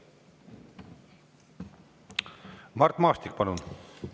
Mart Maastik, palun!